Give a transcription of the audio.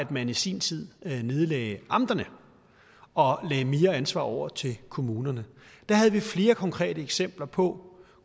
man i sin tid nedlagde amterne og lagde mere ansvar over til kommunerne der havde vi flere konkrete eksempler på